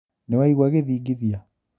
Nĩwaigua gĩthingithia?